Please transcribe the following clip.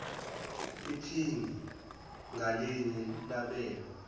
iphini ngalinye labelwa